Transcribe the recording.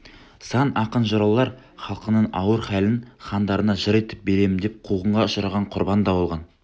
сан ақын-жыраулар халқының ауыр халін хандарына жыр етіп беремін деп қуғынға ұшыраған құрбан да болған